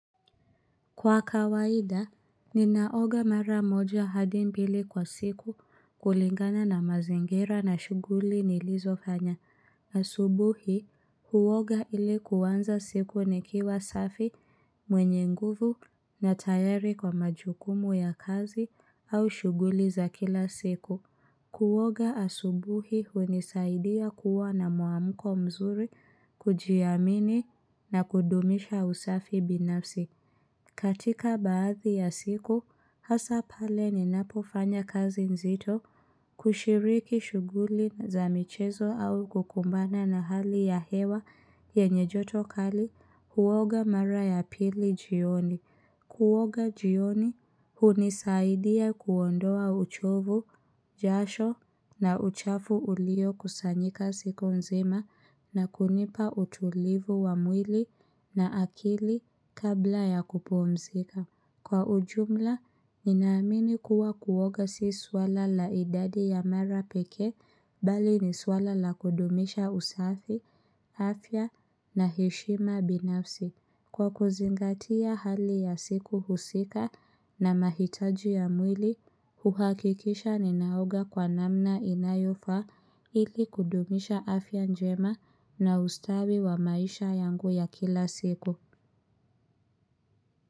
Kwa kawaida, ninaoga mara moja hadi mbili kwa siku kulingana na mazingira na shughuli nilizofanya. Asubuhi, huoga ili kuanza siku nikiwa safi, mwenye nguvu na tayari kwa majukumu ya kazi au shughuli za kila siku. Kuoga asubuhi hunisaidia kuwa na muamuko mzuri, kujiamini na kudumisha usafi binafsi. Katika baadhi ya siku, hasa pale ninapofanya kazi nzito, kushiriki shughuli za michezo au kukumbana na hali ya hewa yenye joto kali, huoga mara ya pili jioni. Kuoga jioni hunisaidia kuondoa uchovu, jasho na uchafu uliokusanyika siku nzima na kunipa utulivu wa mwili na akili kabla ya kupumzika. Kwa ujumla, ninaamini kuwa kuoga si swala la idadi ya mara peke bali ni swala la kudumisha usafi, afya na heshima binafsi. Kwa kuzingatia hali ya siku husika na mahitaji ya mwili, huhakikisha ninaoga kwa namna inayofaa ili kudumisha afya njema na ustawi wa maisha yangu ya kila siku.